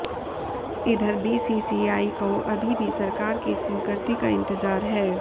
इधर बीसीसीआई को अभी भी सरकार की स्वीकृति का इंतजार है